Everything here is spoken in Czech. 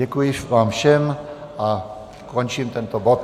Děkuji vám všem a končím tento bod.